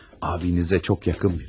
Abinizə çox yaxın biri.